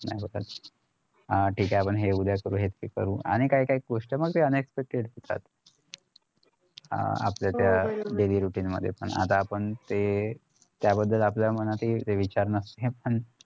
तर हा ठीक हाय आपण हे करूया सोबत हे पन करु आणि काय काय गोष्ट असतात अं आपल्या त्या daily routine मध्ये पण आता आपण ते त्याबद्दल आपल्या मनात ते विचार नसतात पण